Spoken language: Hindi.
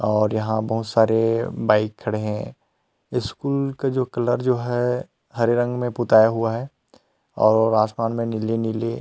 और यहाँ बहूत सारे बाइक खड़े है स्कूल के जो कलर जो है हरे रंग में पुताया हुआ है और आसमान में नीली-नीली--